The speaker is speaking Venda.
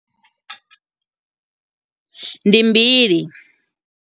Ndi mbili.